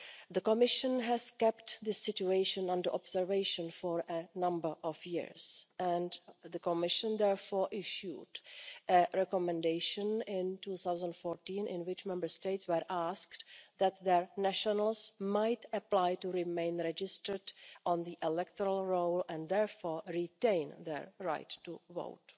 The Commission has kept the situation under observation for a number of years and the Commission therefore issued a recommendation in 2014, in which Member States were asked that their nationals might apply to remain registered on the electoral roll and therefore retain their right to vote.